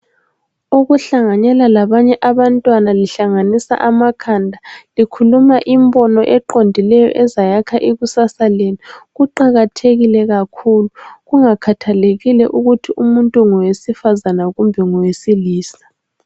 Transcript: Ukuhlanganela labanye abantwana lihlanganisa amakhanda likhuma imbono eqondileyo ezayakha ikusasa lenu kuqakathekile kakhulu kungakhathalekile ukuthi umuntu ngewesifazana kumbe ngowesilisa.